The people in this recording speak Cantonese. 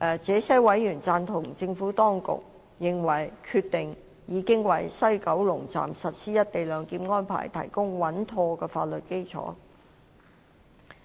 這些委員贊同政府當局，認為《決定》已經為在西九龍站實施"一地兩檢"安排提供穩妥的法律基礎。